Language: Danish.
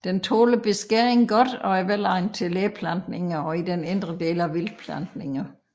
Den tåler beskæring godt og er velegnet til læplantninger og i den indre del af vildtplantninger